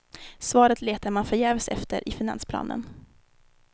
Svaret letar man förgäves efter i finansplanen.